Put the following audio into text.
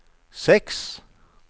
seks